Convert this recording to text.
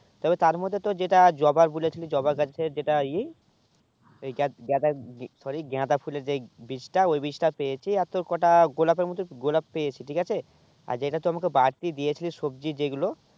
তবে তার মধ্যে তো যেটা জবা বলেছিলি জবা গাছ থেকে যেটা ই এই গাঁদা গাঁদা sorry গাঁদা ফোলে যেই বীজ তা ঐই বীজটা পেয়েছি আর আর তোর কোটা গোলাপে মতুন গোলাপ পেয়েছি ঠিক আছে আর যেটা তুই আমাকে বাড়তি দিয়ে ছিলি সবজি যেই গুলু